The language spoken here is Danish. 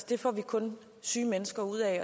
det får vi kun syge mennesker ud af